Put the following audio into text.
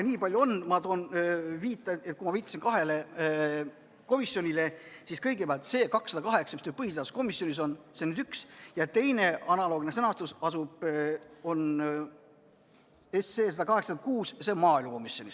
Nii palju ütlen veel, et kui ma viitasin kahele komisjonile, siis seetõttu, et kõigepealt on meil seaduseelnõu 208, mis on põhiseaduskomisjonis, see on üks, ja teine, analoogse sõnastusega eelnõu 186 on maaelukomisjonis.